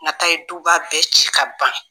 Nata ye duba bɛɛ ci ka ban